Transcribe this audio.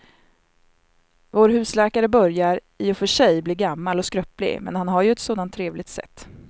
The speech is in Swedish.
Vår husläkare börjar i och för sig bli gammal och skröplig, men han har ju ett sådant trevligt sätt!